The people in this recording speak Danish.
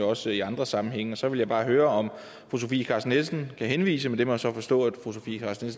også i andre sammenhænge og så vil jeg bare høre om fru sofie carsten nielsen kan henvise men det må jeg så forstå fru sofie carsten